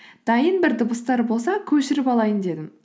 дайын бір дыбыстар болса көшіріп алайын дедім